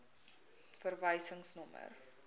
verwysingsnommer